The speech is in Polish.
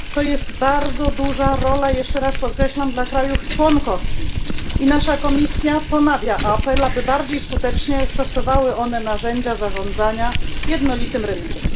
To jest bardzo duża rola jeszcze raz podkreślam dla krajów członkowskich i nasza komisja ponawia apel, aby bardziej skutecznie stosowały one narzędzia zarządzania jednolitym rynkiem.